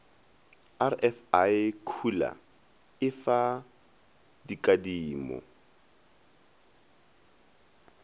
rfi khula e fa dikadimo